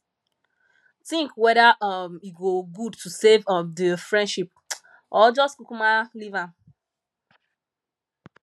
tink weda um e go gud to save um di friendship or jus kukuma leave am